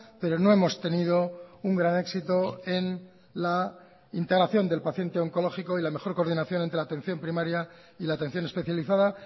pero no hemos tenido un gran éxito en la integración del paciente oncológico y la mejor coordinación entre la atención primaria y la atención especializada